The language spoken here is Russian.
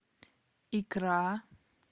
икра